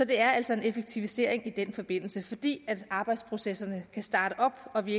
det er altså en effektivisering i den forbindelse fordi arbejdsprocesserne kan startes op og vi